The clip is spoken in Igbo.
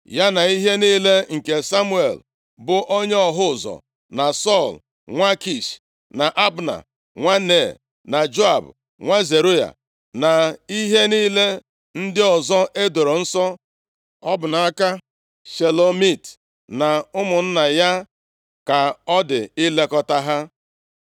Ya na ihe niile nke Samuel, bụ onye ọhụ ụzọ, na Sọl, nwa Kish na Abna, nwa Nea na Joab, nwa Zeruaya na ihe niile ndị ọzọ e doro nsọ. Ọ bụ nʼaka Shelomit na ụmụnna ya ka ọ dị ilekọta ha.